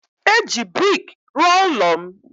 Eji brik rụọ ụlọ m